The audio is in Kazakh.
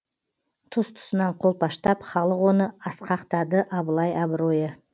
тұс тұсынан қолпаштап халық оны асқақтады абылай абыройы